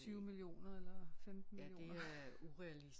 20 millioner eller 15 millioner